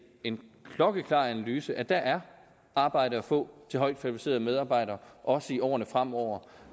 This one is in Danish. en klokkeklar analyse at der er arbejde at få til højt kvalificerede medarbejdere også i årene fremover